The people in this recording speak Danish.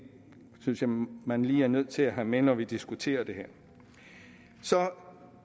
synes jeg man lige er nødt til at have med når vi diskuterer det her så